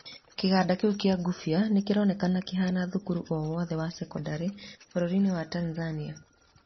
Kĩganda kĩu kĩa ngũbia, nĩkĩronekana kĩhana thũkũru o wothe wa cekondarĩ bũrũrinĩ wa Tanzania.